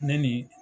Ne ni